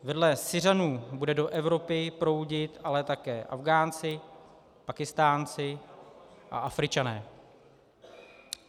Vedle Syřanů budou do Evropy proudit ale také Afghánci, Pákistánci a Afričané.